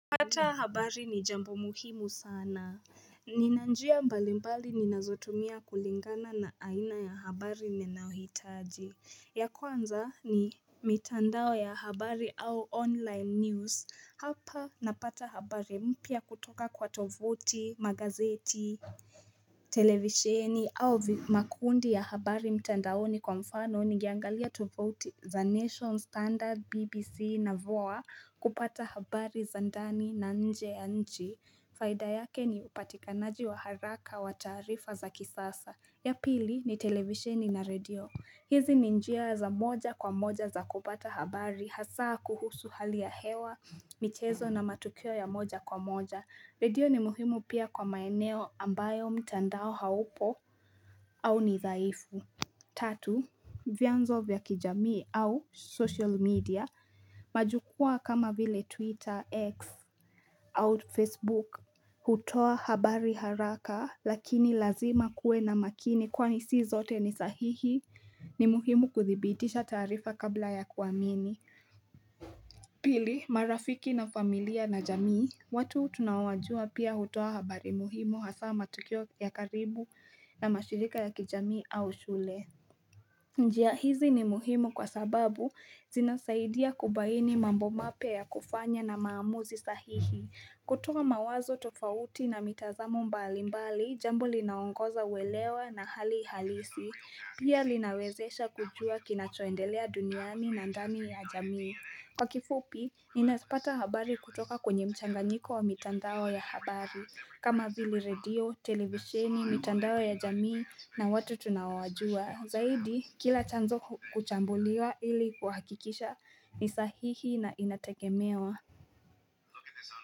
Pata habari ni jambo muhimu sana Nina njia mbalimbali ninazotumia kulingana na aina ya habari ninayohitaji ya kwanza ni mitandao ya habari au online news hapa napata habari mpya kutoka kwa tovuti magazeti televisheni au makundi ya habari mtandaoni kwa mfano ni ningeangalia tufauti za Nation Standard BBC na VOA kupata habari za ndani na nje ya nchi faida yake ni upatikanaji wa haraka wa taarifa za kisasa ya pili ni televisheni na radio hizi ni njia za moja kwa moja za kupata habari hasa kuhusu hali ya hewa michezo na matukio ya moja kwa moja Redio ni muhimu pia kwa maeneo ambayo mtandao haupo au ni dhaifu Tatu, vyanzo vya kijamii au social media Majukua kama vile Twitter, X au Facebook hutoa habari haraka lakini lazima kuwe na makini kwani si zote ni sahihi ni muhimu kuthibitisha taarifa kabla ya kuamini Pili, marafiki na familia na jamii watu tunaowajua pia hutoa habari muhimu hasa matukio ya karibu na mashirika ya kijamii au shule. Njia hizi ni muhimu kwa sababu zinasaidia kubaini mambo mapya ya kufanya na maamuzi sahihi. Kutoa mawazo tofauti na mitazamo mbalimbali, jambo linaongoza uelewe na hali halisi. Pia linawezesha kujua kinachoendelea duniani na ndani ya jamii. Kwa kifupi, ninapata habari kutoka kwenye mchanganyiko wa mitandao ya habari, kama vili redio, televisheni, mitandao ya jamii na watu tunaowajua. Zaidi, kila chanzo huchambuliwa ili kuhakikisha ni sahihi na inategemewa.